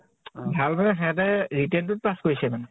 অ । ভাল মানে সেহেতে written টোত pass কৰিছে মানে ।